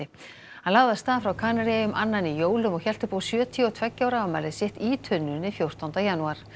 hann lagði af stað frá Kanaríeyjum annan í jólum og hélt upp á sjötíu og tveggja ára afmælið sitt í tunnunni fjórtánda janúar